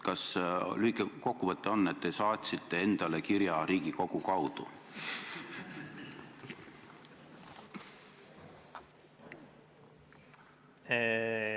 Kas lühike kokkuvõte on, et te saatsite endale kirja Riigikogu kaudu?